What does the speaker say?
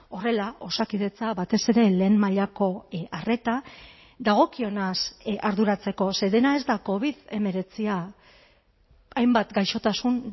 horrela osakidetza batez ere lehen mailako arreta dagokionaz arduratzeko ze dena ez da covid hemeretzia hainbat gaixotasun